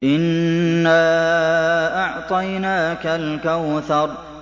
إِنَّا أَعْطَيْنَاكَ الْكَوْثَرَ